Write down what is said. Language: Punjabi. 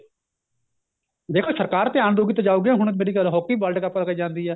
ਦੇਖੋ ਸਰਕਾਰ ਧਿਆਨ ਦਉਗੀ ਤਾਂ ਜਾਉਗੀ hockey world cup ਹੋ ਕੇ ਜਾਂਦੀ ਏ